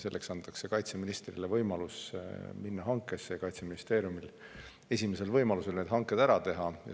Selleks antakse kaitseministrile võimalus hanked, Kaitseministeerium saab esimesel võimalusel need hanked ära teha.